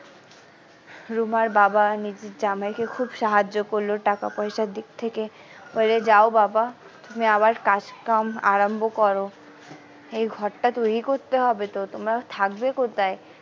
রুমার বাবা নিজের জামাইকে খুব সাহায্য করলো টাকা পয়সার দিক থেকে বলে যাও বাবা তুমি আবার কাজকাম আরম্ভ করো এই ঘরটা তৈরী করতে হবে তো তোমরা থাকবে কোথায়।